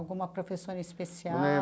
Alguma professora em especial?